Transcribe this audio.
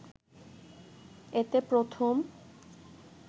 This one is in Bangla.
এতে প্রথম